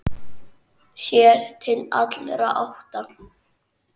Sér til allra átta.